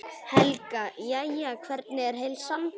Helga: Jæja, hvernig er heilsan?